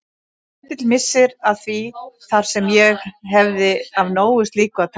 Lítill missir að því þar sem ég hefði af nógu slíku að taka.